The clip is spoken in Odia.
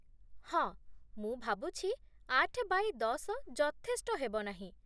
ହଁ, ମୁଁ ଭାବୁଛି ଆଠ ବାୟେ ଦଶ ଯଥେଷ୍ଟ ହେବ ନାହିଁ ।